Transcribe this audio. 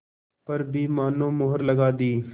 पर भी मानो मुहर लगा दी